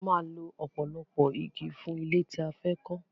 A máa lọ ọ̀pọ̀lọpọ̀ igi fún ilé tí a fẹ́ kọ́